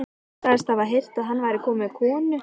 Hún sagðist hafa heyrt að hann væri kominn með konu.